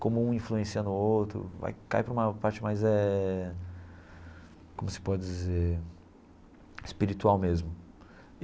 como um influencia no outro, cai para uma parte mais eh, como se pode dizer, espiritual mesmo.